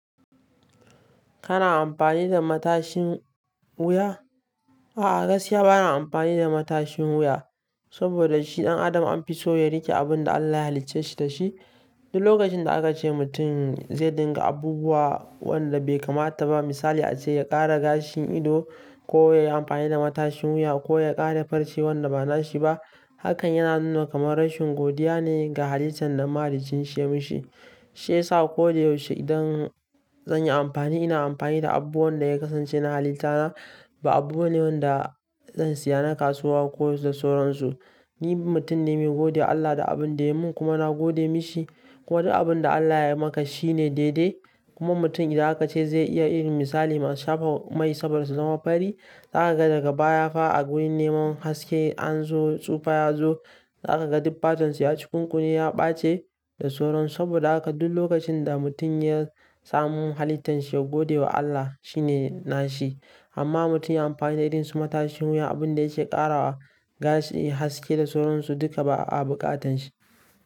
Kana amfani da matashin wuya? A'a gaskiya bana amfani da matashin wuya, saboda shi ɗan Adam an fi so ya riƙe abin da Allah ya halicce shi da shi. Duk lokacin da aka ce mutum zai riƙa abubuwa waɗanda bai kamata ba misali a ce ya ƙara gashin ido ko ya yi amfani da matashin wuya ko ya ƙara farce wanda ba nasa ba ne hakan yana nuna kamar rashin godiya ne ga halittar da mahaliccinsa yayi masa. Shi yasa ko da yaushe idan zan yi amfani ina amfani da abubuwan da suka kasance na halittata ba abu bane wanda zan saya na kasuwa ko da sauran su. Ni mutum ne mai godewa Allah da abin da ya yi min kuma na gode masa. Kuma duk abin da Allah ya yi maka shi ne daidai. Kuma mutum idan aka ce ya yi irin misali masu shafa mai saboda su zama fari, za ka ga daga baya fa a wajen neman haske sai tsufa ya zo Za ka ga duk fatar su ya cukunkune ya ɓace da sauran su. Saboda haka duk lokacin da mutum ya samu halittar sa ya gode wa Allah shi ne nashi. Amma mutum ya yi amfani da irin su matashin wuya abun da yake ƙara wa gashi haske da sauran su duka ba a buƙatar sa.